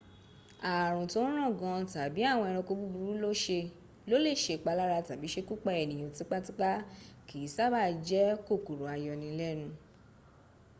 ààrùn tó ń ràn gan tàbí àwọn ẹranko burúkú tó lè sèpalára tàbí sekúpa ènìyàn tipatipá kì í sábàá jẹ́ kòkòrò ayọnilẹ́nu